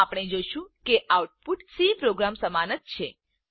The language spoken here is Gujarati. તો આપણે જોશું કે આઉટપુટ સી પ્રોગ્રામ સમાન જ છે